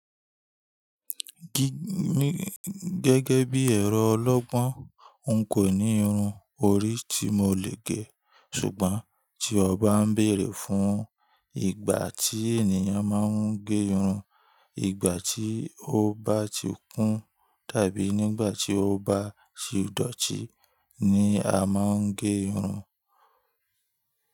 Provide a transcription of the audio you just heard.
Gẹ́gẹ́ bí ẹ̀rọ ọlọ́gbọ́n, n kò ní irun orí tí mo lè gẹ́. Ṣùgbọ́n tí on bá ń bèerè fún ìgbà tí ènìyàn máa ń gé irun, ìgbà tí ó bá ti kún tàbí nígbà tí ó bá ti dọ̀tí ní a máa ń gé irun.